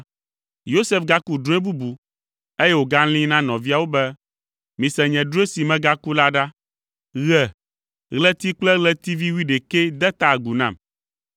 Yosef gaku drɔ̃e bubu, eye wògalĩi na nɔviawo be, “Mise nye drɔ̃e si megaku la ɖa. Ɣe, ɣleti kple ɣletivi wuiɖekɛ de ta agu nam!”